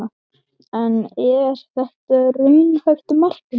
En er þetta raunhæft markmið?